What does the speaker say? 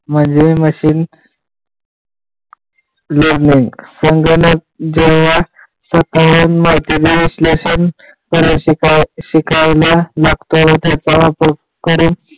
म्हणजे machine learning समजायला जेव्हा सखोल माहिती पण असल्याचे तर शिकायला लागतो, व ते पराक्रम करून